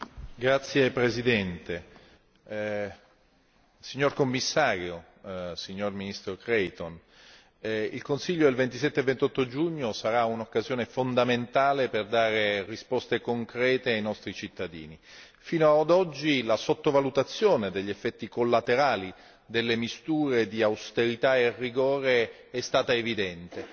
Signor Presidente, signor Commissario, signor ministro Creighton, onorevoli colleghi, il Consiglio del 27 e 28 giugno sarà un'occasione fondamentale per dare risposte concrete ai nostri cittadini, fino ad oggi la sottovalutazione degli effetti collaterali delle misture di austerità e rigore è stata evidente.